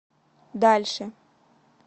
дальше